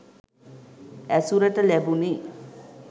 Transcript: ඇසුරට ලැබුණෙ.